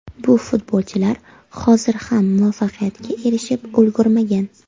Bu futbolchilar hozir ham muvaffaqiyatga erishib ulgurmagan.